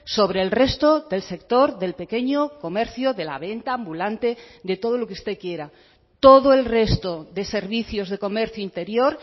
sobre el resto del sector del pequeño comercio de la venta ambulante de todo lo que usted quiera todo el resto de servicios de comercio interior